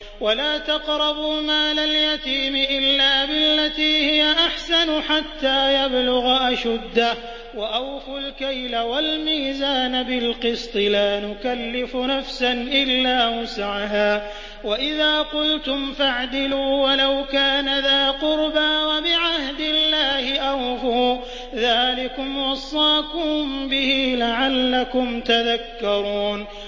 وَلَا تَقْرَبُوا مَالَ الْيَتِيمِ إِلَّا بِالَّتِي هِيَ أَحْسَنُ حَتَّىٰ يَبْلُغَ أَشُدَّهُ ۖ وَأَوْفُوا الْكَيْلَ وَالْمِيزَانَ بِالْقِسْطِ ۖ لَا نُكَلِّفُ نَفْسًا إِلَّا وُسْعَهَا ۖ وَإِذَا قُلْتُمْ فَاعْدِلُوا وَلَوْ كَانَ ذَا قُرْبَىٰ ۖ وَبِعَهْدِ اللَّهِ أَوْفُوا ۚ ذَٰلِكُمْ وَصَّاكُم بِهِ لَعَلَّكُمْ تَذَكَّرُونَ